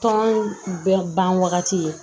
Tɔn bɛɛ ban wagati ye